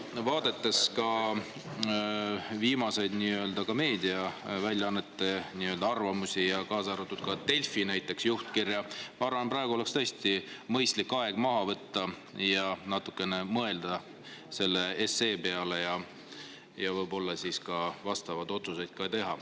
Vaadates viimaseid meediaväljaannete arvamusi, kaasa arvatud Delfi juhtkirja, ma arvan, et praegu oleks tõesti mõistlik aeg maha võtta, natukene mõelda selle 570 SE peale ja võib-olla ka vastavad otsused teha.